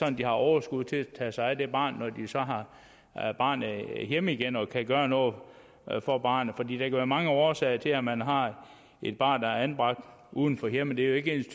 at de har overskud til at tage sig af det barn når de har barnet hjemme hjemme og gøre noget for barnet der kan være mange årsager til at man har et barn der er anbragt uden for hjemmet det er jo ikke